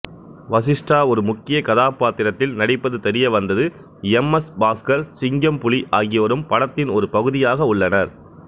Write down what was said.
வசிஸ்டா ஒரு முக்கிய கதாபாத்திரத்தில் நடிப்பது தெரியவந்தது எம் எசு பாசுகர் சிங்கம்புலி ஆகியோரும் படத்தின் ஒரு பகுதியாக உள்ளனர்